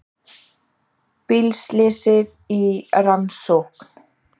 Bílslysið í rannsókn